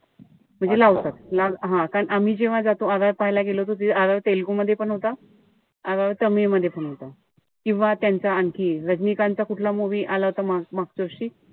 म्हणजे लावतात. हं कारण आम्ही जेव्हा जातो RRR पाहायला गेलो होतो. RRR तेलगू मध्ये पण होता, RRR तामिळ मध्ये पण होता. किंवा त्यांचा आणखी रजनीकांतचा कुठला movie आला होता मागच्या वर्षी?